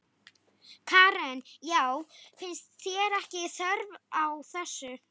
Karen: Já, finnst þér ekki þörf á þessu?